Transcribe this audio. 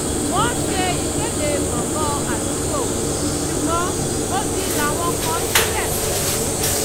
wọ́n ṣe ìkéde gbòngàn àdúgbò ṣùgbọ́n odi làwọn kàn sílẹ̀ pẹ̀lú